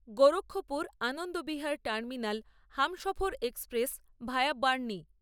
Gorakhpur Anand Vihar terminal Humsafar express via Bernie